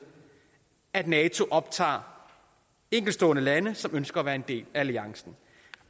at nato optager enkeltstående lande som ønsker at være en del af alliancen